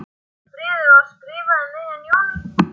Síðasta bréfið var skrifað um miðjan júní.